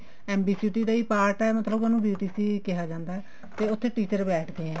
NBTC ਦਾ ਹੀ part ਹੈ ਮਤਲਬ ਉਹਨੂੰ BTC ਕਿਹਾ ਜਾਂਦਾ ਤੇ ਉੱਥੇ teacher ਬੈਠਦੇ ਆ